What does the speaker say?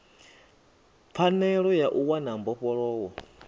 pfanelo ya u wana mbofholowo